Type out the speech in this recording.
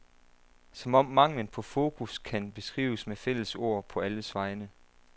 Som om manglen på fokus kan beskrives med fælles ord på alles vegne.